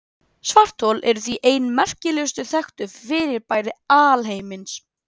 Svarthol eru því ein merkilegustu þekktu fyrirbæri alheimsins.